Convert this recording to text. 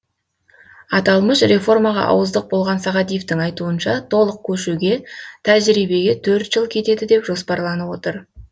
аталмыш реформаға ауыздық болған сағадиевтің айтуынша толық көшуге тәжірибеге төрт жыл кетеді деп жоспарланып отыр